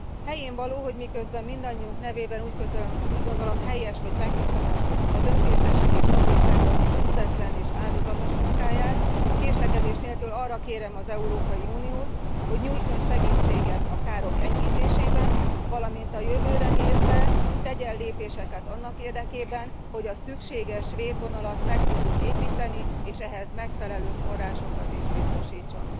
Helyénvaló, hogy miközben mindannyiunk nevében úgy gondolom helyes, hogy megköszönöm az önkéntesek és hatóságok önzetlen és áldozatos munkáját, késlekedés nélkül arra kérem az Európai Uniót, hogy nyújtson segítséget a károk enyhítésében, valamint a jövőre nézve tegyen lépéseket annak érdekében, hogy a szükséges védvonalat meg tudjuk építeni, és ehhez megfelelő forrásokat is biztosítson.